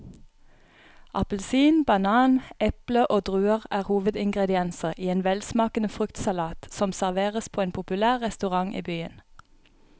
Appelsin, banan, eple og druer er hovedingredienser i en velsmakende fruktsalat som serveres på en populær restaurant i byen.